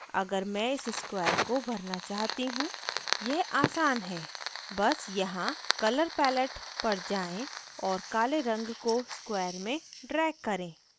अगर मैं इस square को भरना चाहती हूँ यह आसान है बस यहाँ colour palet पर जाएँ और काले रंग को square में drag करें